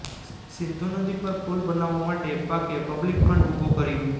સિંધુ નદી પર પુલ બનાવવા માટે પાકે પબ્લિક ફંડ ઉભું કર્યુ